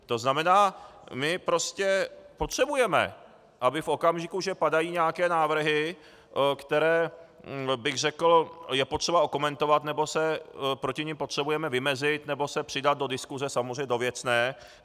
To znamená, my prostě potřebujeme, aby v okamžiku, že padají nějaké návrhy, které, bych řekl, je potřeba okomentovat, nebo se proti nim potřebujeme vymezit nebo se přidat do diskuse, samozřejmě do věcné.